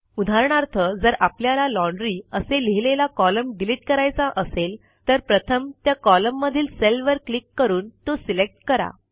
उदाहरणार्थ जर आपल्याला लॉन्ड्री असे लिहिलेला कॉलम डिलिट करायचा असेल तर प्रथम त्या कॉलम मधील सेलवर क्लिक करून तो सिलेक्ट करा